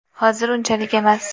Hozir unchalik emas.